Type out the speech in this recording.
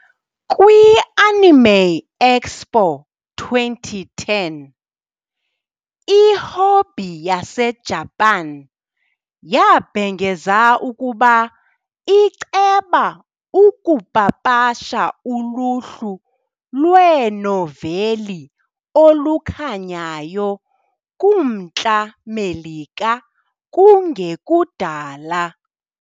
Kwi -Anime Expo 2010, iHobby yaseJapan yabhengeza ukuba iceba ukupapasha uluhlu lwenoveli olukhanyayo kuMntla Melika kungekudala.